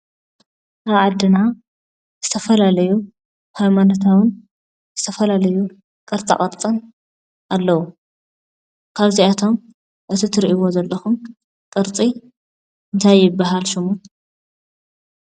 ኣብ ዓድና ዝተፈላለዩ ሃይማኖታዊን ዝተፈላዩ ቅርፃቅርፅን ኣለዉ፡፡ ካብእዚኣቶም እዚ እትሪእዎ ዘለኩም ቅርፂ እንታይ ይባሃል ሽሙ?